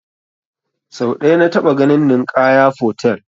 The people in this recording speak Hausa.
Sau ɗaya na taɓa ganin Ninkaya fotel